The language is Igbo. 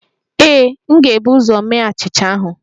Ee, m ga-ebu ụzọ mee achịcha ahụ